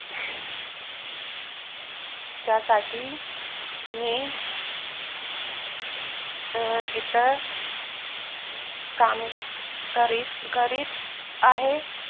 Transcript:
त्यासाठी मी अं इथं काम करीत-करीत आहे